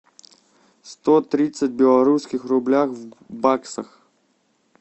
сто тридцать белорусских рублях в баксах